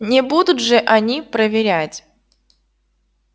не будут же они проверять